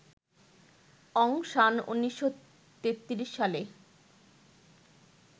অং San ১৯৩৩ সালে